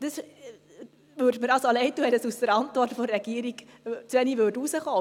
Es täte mir leid, wenn dies aus der Antwort der Regierung zu wenig klar hervorginge: